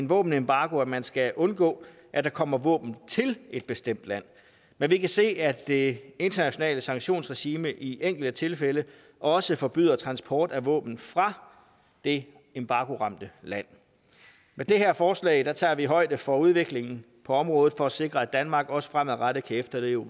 våbenembargo at man skal undgå at der kommer våben til et bestemt land men vi kan se at det internationale sanktionsregime i enkelte tilfælde også forbyder transport af våben fra det embargoramte land med det her forslag tager vi højde for udviklingen på området for at sikre at danmark også fremadrettet kan efterleve